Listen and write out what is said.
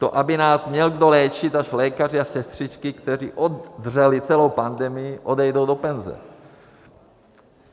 To aby nás měl kdo léčit až lékaři a sestřičky, kteří oddřeli celou pandemii, odejdou do penze.